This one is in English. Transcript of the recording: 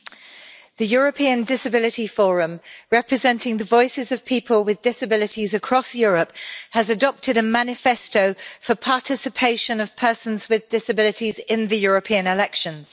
Madam President, the European Disability Forum, representing the voices of people with disabilities across Europe, has adopted a manifesto for the participation of persons with disabilities in the European elections.